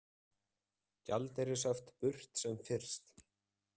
Gjaldeyrishöft burt sem fyrst